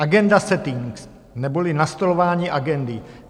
Agenda settings neboli nastolování agendy.